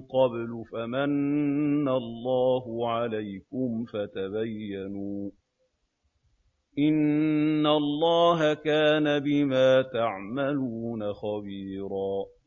قَبْلُ فَمَنَّ اللَّهُ عَلَيْكُمْ فَتَبَيَّنُوا ۚ إِنَّ اللَّهَ كَانَ بِمَا تَعْمَلُونَ خَبِيرًا